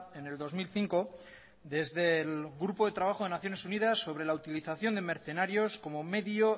en el dos mil cinco desde el grupo de trabajo de naciones unidas sobre la utilización de mercenarios como medio